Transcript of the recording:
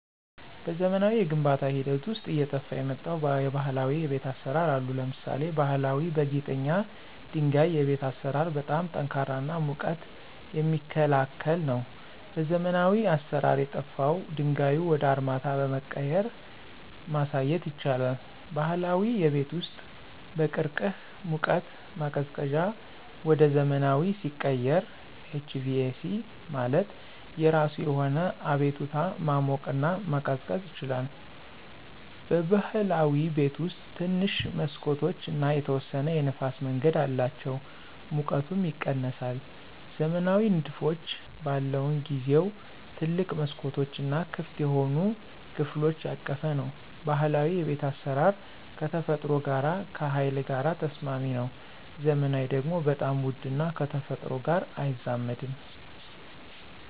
በዘመናዊ የግንባታ ሂደት ውስጥ አየጠፍ የመጣው የባህላዊ የቤት አሰራር አሉ። ለምሳሌ ባሀላዊ በጊጠኛ ድንጋይ የቤት አሰራር በጣም ጠንካራ እና ሙቀት የሚክላከል ነው። በዘመናዊ አሰራር የጠፍው ድንጋዩ ወደ አርማታ በመቀየራ ማሳየት ይቻላል። ባህላዊ የቤት ውስጥ በቅርቅህ ሙቀት ማቀዝቀዚያ ወደ ዘመናዊ ሲቀየር HVAC ማለት የራሱ የሆነ አቤቱታ ማሞቅና መቀዝቀዝ ይችላል። በብህላዊ ቤት ውስጥ ትንሽ መሠኮቶች እና የተወሰነ የንፍስ መንገድ አላቸው ሙቀቱም ይቀነሳል። ዘመናዊ ንድፎች በለውን ጊዜው ትልቅ መስኮቶች እና ክፍት የሆኑ ከፍሎች ያቀፈ ነው። ባህላዊ የቤት አስራር ከተፈጥሮ ጋር ከሀይል ጋር ተስማሚ ነው። ዘመናዊ ደግሞ በጣም ውድ እና ከተፈጥሮ ጋር አይዛመድም።